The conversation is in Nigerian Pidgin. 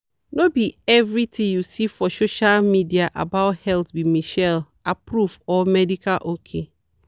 no be everything you see for social media about health be michelle-approved or medical ok.